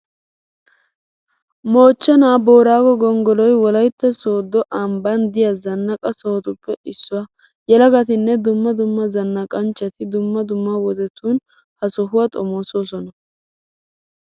Moochchenaa booraago gonggoloy wolaytta sooddo ambban de'iya zannaqa sohotuppe issuwa. Yelagatinne dumma dumma zannaqanchchati dumma dumma wodetun ha sohuwa xomoosoosona.